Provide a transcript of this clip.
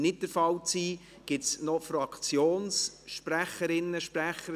Gibt es weitere Fraktionssprecherinnen, Fraktionssprecher, die das Wort wünschen?